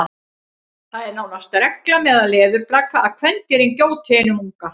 það er nánast regla meðal leðurblaka að kvendýrin gjóti einum unga